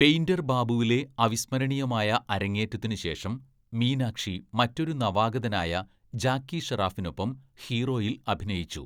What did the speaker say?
Painter‍ ബാബുവിലെ അവിസ്മരണീയമായ അരങ്ങേറ്റത്തിന് ശേഷം മീനാക്ഷി മറ്റൊരു നവാഗതനായ ജാക്കി ഷറാഫിനൊപ്പം ഹീറോയിൽ അഭിനയിച്ചു.